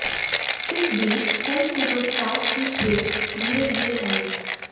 इस बीच कई सुपरस्टार्स की खेप धीरे धीरे आई